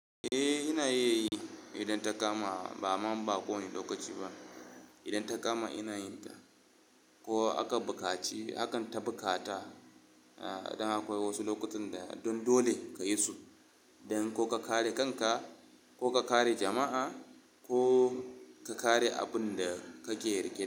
Eh, ina iya yi idan ta kama. Ba ma, ba kowane lokaci ba. Idan ta kama ina yin ta ko aka bukaci, hakan ta bukata. Idan akwai wasu lokutan da don dole ka yi su don ko ka kare kanka, ko ka kare jama'a, ko ka kare abin da kake rike.